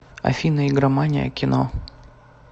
афина игромания кино